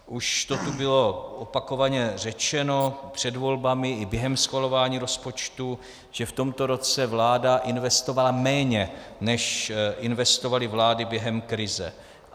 Už to tu bylo opakovaně řečeno před volbami i během schvalování rozpočtu, že v tomto roce vláda investovala méně, než investovaly vlády během krize.